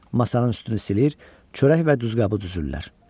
Masanın üstünü silir, çörək və duzqabı düzürlər.